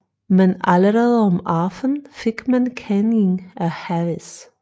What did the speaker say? Men allerede om aften fik man kending af havis